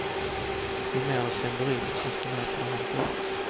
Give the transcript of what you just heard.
Ju mer de sänder in, desto mer får de hämta ut.